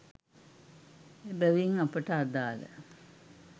එබැවින් අපට අදාළ